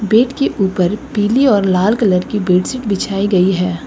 Bed के ऊपर पीली और लाल कलर की बेड शीट बिछाई गई है।